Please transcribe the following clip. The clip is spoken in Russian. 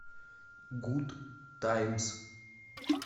гуд таймс